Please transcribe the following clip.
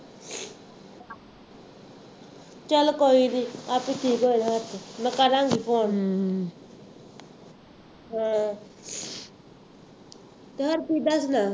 ਚੱਲ ਕੋਈ ਨਹੀਂ ਆਪੇ ਠੀਕ ਹੋ ਜਾਣਾ ਹੱਥ, ਮੈਂ ਕਰਾਂਗੀ ਫੋਨ ਹਾਂ ਯਾਰ ਕਿਦਾਂ ਸੁਣਾ